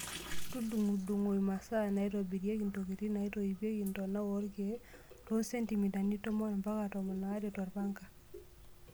Tudung'udung'o imasaa naitobirieki ntokitin naitoipieki ntonaa orkiek too sentimitani tomon mpaka tomon aare torpanga.